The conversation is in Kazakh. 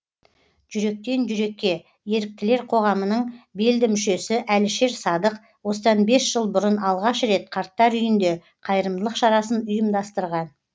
жүректен жүрекке еріктілер қоғамының белді мүшесі әлішер садық осыдан бес жыл бұрын алғаш рет қарттар үйінде қайырымдылық шарасын ұйымдастырған